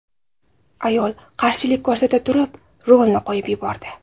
Ayol qarshilik ko‘rsata turib, rulni qo‘yib yubordi.